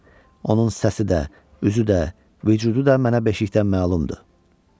Onun səsi də, üzü də, vücudu da mənə beşikdən məlumdur.